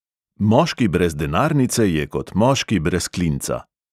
Moški brez denarnice je kot moški brez klinca.